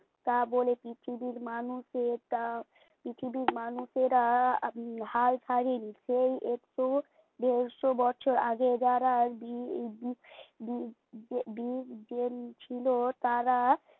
তা বলে কি পৃথিবীর মানুষের কি চা পৃথিবীর মানুষেরা হাল ছাড়িনি সেই একটু দেড়শো বছর আগে যারা বি বি বি বি ছিল তারা